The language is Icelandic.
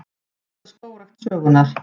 Mesta skógrækt sögunnar